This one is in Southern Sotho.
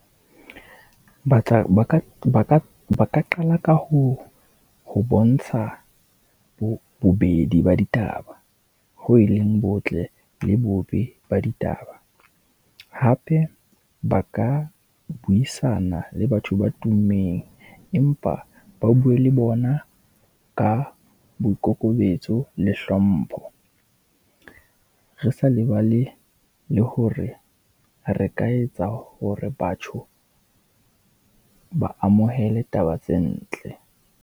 Ba tla, ba ka, ba ka, ba ka qala ka ho, ho bontsha bo, bobedi ba ditaba. Ho e leng botle le bobe ba ditaba. Hape ba ka buisana le batho ba tummeng, empa ba bue le bona ka boikokobetso le hlompho. Re sa lebale le hore re ka etsa hore batho ba amohele taba tse ntle.